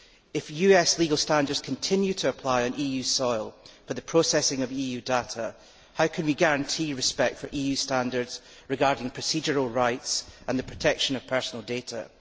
If US legal standards continue to apply on EU soil for the processing of EU data, how can we guarantee respect for EU standards regarding procedural rights and the protection of personal data?